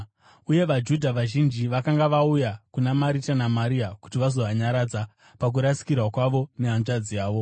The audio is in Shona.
uye vaJudha vazhinji vakanga vauya kuna Marita naMaria kuti vazovanyaradza pakurasikirwa kwavo nehanzvadzi yavo.